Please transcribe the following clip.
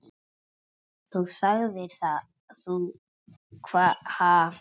Þá sagðir þú: Ha hver?